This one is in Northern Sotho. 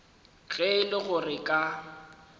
ge e le gore ka